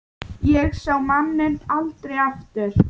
Ég sá manninn aldrei aftur.